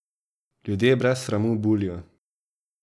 Ljudje brez sramu bulijo.